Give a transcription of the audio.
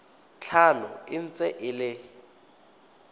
tlhano e ntse e le